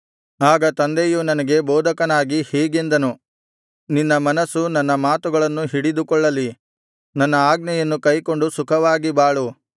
ಆಗ ತಂದೆಯು ನನಗೆ ಬೋಧಕನಾಗಿ ಹೀಗೆಂದನು ನಿನ್ನ ಮನಸ್ಸು ನನ್ನ ಮಾತುಗಳನ್ನು ಹಿಡಿದುಕೊಳ್ಳಲಿ ನನ್ನ ಆಜ್ಞೆಯನ್ನು ಕೈಕೊಂಡು ಸುಖವಾಗಿ ಬಾಳು